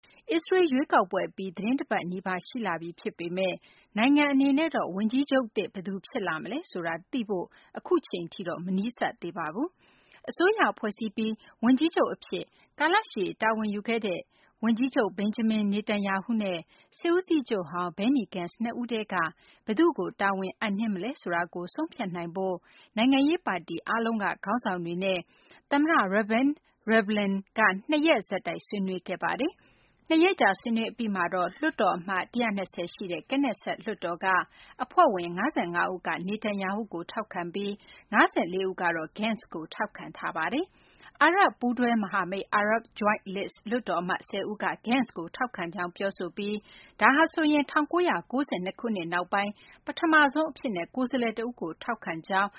အစ္စရေးလ် ရွေးကောက်ပွဲ အပြီး သီတင်းတပတ်နီးပါး ရှိလာပြီ ဖြစ်ပေမယ့် နိုင်ငံ အနေနဲ့တော့ ဝန်ကြီးချုပ်သစ် ဘယ်သူ ဖြစ်လာမလဲ ဆိုတာ သိရှိဖို့ အခုအချိန်ထိ မနီးစပ်သေးပါဘူး။ အစိုးရဖွဲ့စည်းပြီး ဝန်ကြီးချုပ် အဖြစ် ကာလရှည် တာဝန်ယူခဲ့တဲ့ ဝန်ကြီးချုပ် Benjamin Netanyahu နဲ့ စစ်ဦးစီးချုပ်ဟောင်း Benny Gantz နှစ်ဦးထဲက ဘယ်သူ့ကို တာဝန်အပ်နှင်းမလဲ ဆိုတာကို ဆုံးဖြတ်နိုင်ဖို့ နိုင်ငံရေး ပါတီ အားလုံးက ခေါင်းဆောင်တွေနဲ့ သမ္မတ Reuven Rivlin က နှစ်ရက်ဆက်တိုက် ဆွေးနွေးခဲ့ပါတယ်။ ၂ ရက်ကြာ ဆွေးနွေးအပြီးမှာတော့ လွှတ်တော်အမတ်နေရာ ၁၂၀ ရှိတဲ့ Knesset လွှတ်တော်က အဖွဲ့ဝင် ၅၅ ဦးက Netanyahu ကို ထောက်ခံပြီး ၅၄ ဦးကတော့ Gantz ကို ထောက်ခံထားပါတယ်။ အာရပ် ပူးတွဲ မဟာမိတ် Arab Joint List လွှတ်တော် အမတ် ၁၀ ဦးက Gentz ကို ထောက်ခံကြောင်း ပြောဆိုထားပြီး ဒါဟာဆိုရင် ၁၉၉၂ ခုနှစ် နောက်ပိုင်း ပထမဆုံး အကြိမ် အဖြစ်နဲ့ ကိုယ်စားလှယ် တဦးကို ထောက်ခံကြောင်း